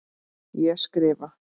Ég skrifa.